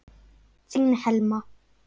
Þín Helma.